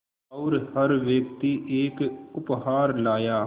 और हर व्यक्ति एक उपहार लाया